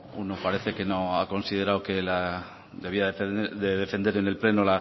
uno parece que no ha considerado que la debía de defender en el pleno